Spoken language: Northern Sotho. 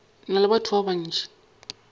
na le batho ba bantši